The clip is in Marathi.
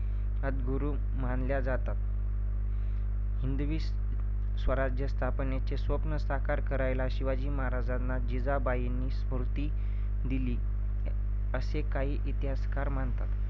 आद्यगुरू मानल्या जातात. हिंदवी स्वराज्य स्थापनेचे स्वप्न साकार करायला शिवाजी महाराजांना जिजाबाईंनी स्फूर्ती दिली असे काही इतिहासकार मानतात.